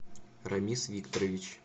рамис викторович